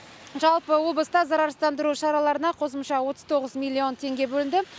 жалпы облыста зарарсыздандыру шараларына қосымша отыз тоғыз миллион теңге бөлінді